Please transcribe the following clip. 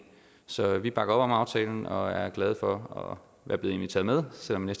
så vi bakker op om aftalen og er glade for at være blevet inviteret med selv om vi